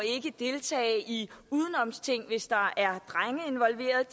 deltage i udenomsting hvis der er drenge involveret